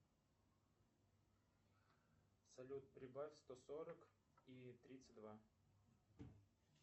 салют прибавь сто сорок и тридцать два